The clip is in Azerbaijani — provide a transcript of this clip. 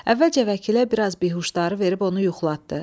Əvvəlcə vəkilə biraz bihuşdarı verib onu yuxlatdı.